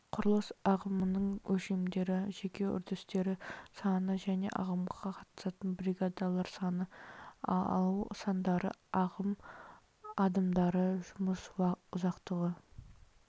құрылыс ағымының өлшемдері жеке үрдістер саны және ағымға қатысатын бригадалар саны алу сандары ағым адымдары жұмыс ұзақтығы